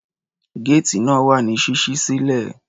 Géètì náà wà ní ṣíṣí sílẹ̀.